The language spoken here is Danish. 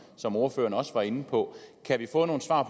som ordføreren også var inde på kan vi få nogle svar